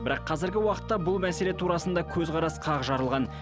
бірақ қазіргі уақытта бұл мәселе турасында көзқарас қақ жарылған